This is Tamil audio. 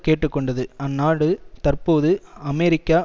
கேட்டு கொண்டது அந்நாடு தற்போது அமெரிக்க